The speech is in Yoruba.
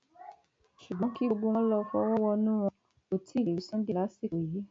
ṣùgbọn kí gbogbo wọn lọọ fọwọ wọnú wọn kó tí ì lè rí sunday lásìkò yìí